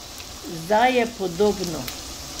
Zdaj je podobno.